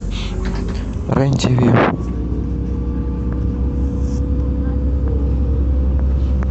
рен тв